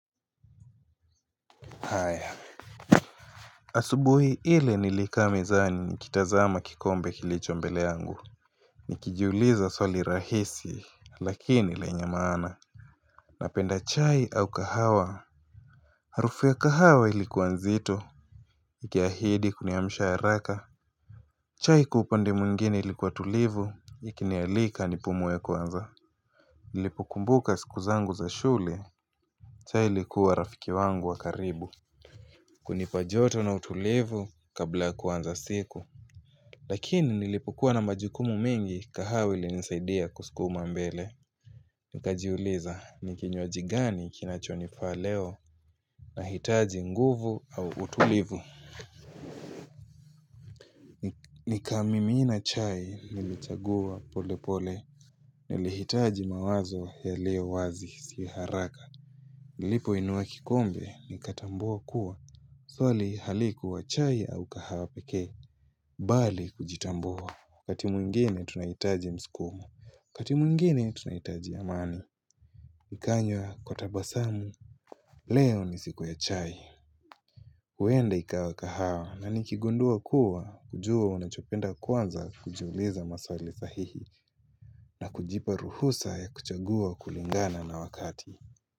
Asubuhi ile nilikaa mezani nikitazama kikombe kilicho mbele yangu Nikijiuliza swali rahisi lakini lenye maana Napenda chai au kahawa? Harufu ya kahawa ilikuwa nzito Ikihahidi kuniamsha haraka. Chai kwa upande mwingine ilikuwa tulivu Ikinialika nipumue kwanza Nilipokumbuka siku zangu za shule chai ilikuwa rafiki wangu wa karibu kunipa joto na utulivu kabla kuanza siku Lakini nilipokuwa na majukumu mengi kahawe ilinisaidia kusukuma mbele. Nikajiuliza ni kinyaji gani kinachonifaa leo nahitaji nguvu au utulivu. Nikamimina chai nilichagua pole pole nilihitaji mawazo yaliowazi si haraka. Nilipoinuwa kikombe nikatambua kuwa, swali halikuwa chai au kahawa pekee bali kujitambua. Wakati mwingine tunaitaji mskumo, wakati mwingine tunaitaji amani Nikanywa kwa tabasamu, leo ni siku ya chai huenda ikawa kahawa na nikigundua kuwa, kujua unachopenda kwanza kujiuliza maswali sahihi na kujipa ruhusa ya kuchagua kulingana na wakati.